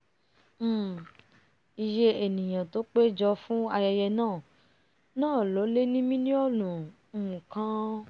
um iyé ènìà tó pé jọ fún ayẹyẹ náà náà lé ní milionu um kan